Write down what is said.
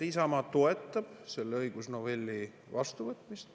Isamaa toetab selle õigusnovelli vastuvõtmist.